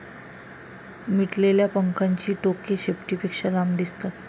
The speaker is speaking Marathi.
मिटलेल्या पंखांची टोके शेपटीपेक्षा लांब दिसतात.